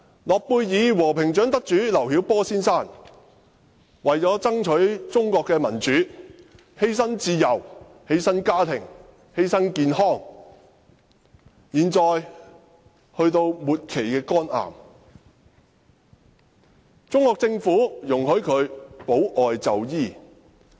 諾貝爾和平獎得主劉曉波先生，為了爭取中國的民主而犧牲自由、家庭和健康，他現在身患末期肝癌，中國政府容許他保外就醫。